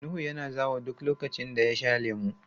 Nuhu yana zawo duk lokacin da ya sha lemu.